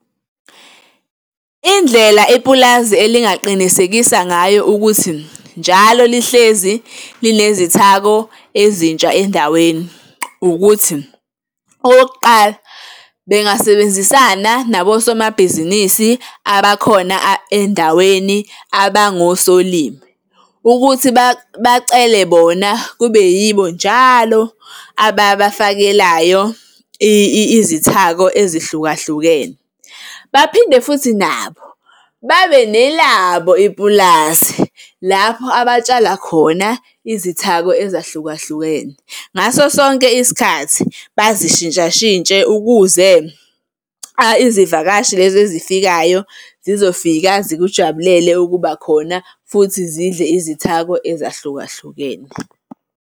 Indlela ipulazi elingaqinisekisa ngayo ukuthi njalo lihlezi linezithako ezintsha endaweni ukuthi, okokuqala bengasebenzisana nabosomabhizinisi abakhona endaweni abangosolimi, ukuthi bacele bona kube yibo njalo ababafakelayo izithako ezihlukahlukene. Baphinde futhi nabo babe nelabo ipulazi lapho abatshala khona izithako ezahlukahlukene, ngaso sonke isikhathi bazishintshashintshe ukuze izivakashi lezi ezifikayo zizofika, zikujabulele ukuba khona futhi zidle izithako ezahlukahlukene.